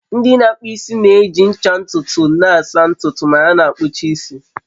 Ndị na-akpụ isi na-eji ncha ntutu na-asa ntutu ma ha kpuchaa isi